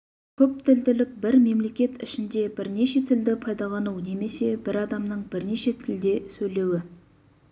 көптілділік бір мемлекет ішінде бірнеше тілді пайдалану немесе бір адамның бірнеше тілде сөйлеуі